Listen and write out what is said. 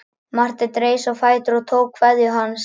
Marteinn reis á fætur og tók kveðju hans.